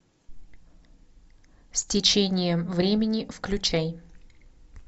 с течением времени включай